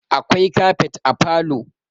akwai kafet a falo